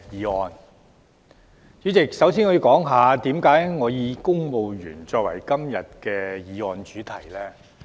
代理主席，首先，我要解釋為何我會以公務員作為今天議案的主題。